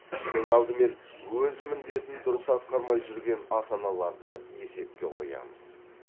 ең алдымен өз міндетін дұрыс атқармай жүрген ата аналарды есепқе қоямыз